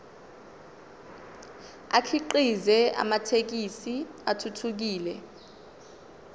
akhiqize amathekisthi athuthukile